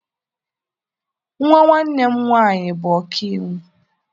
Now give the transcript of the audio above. Nwa nwanne m nwaanyị bụbu ọka iwu.